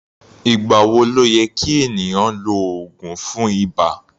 Ìgbà wo ló yẹ kí ènìyàn lo oògùn fún ibà?